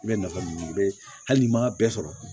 I bɛ nafa min bɛ hali n'i m'a bɛɛ sɔrɔ